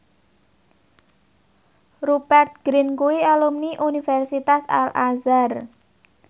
Rupert Grin kuwi alumni Universitas Al Azhar